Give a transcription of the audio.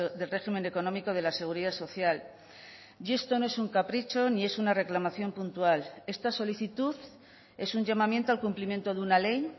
del régimen económico de la seguridad social y esto no es un capricho ni es una reclamación puntual esta solicitud es un llamamiento al cumplimiento de una ley